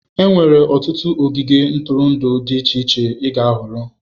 Enwere ọtụtụ ogige ntụrụndụ dị iche iche ịga ịhọrọ.